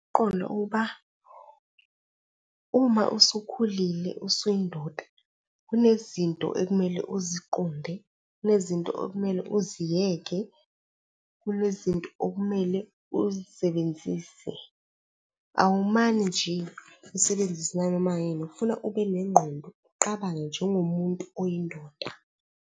uma usukhulile usuyindoda, kunezinto ekumele uziqonde, kunezinto okumele uziyeke, kunezinto okumele uzisebenzise. Awumane nje usebenzise nanoma yini, kufuna ube nengqondo uqabange njengomuntu oyindoda.